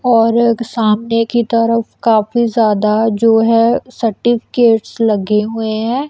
और एक सामने की तरफ काफी ज्यादा जो है सर्टिफिकेट्स लगे हुए हैं।